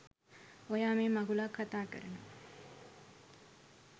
ඔයා මේ මගුලක් කතා කරනවා.